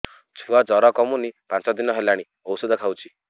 ଛୁଆ ଜର କମୁନି ପାଞ୍ଚ ଦିନ ହେଲାଣି ଔଷଧ ଖାଉଛି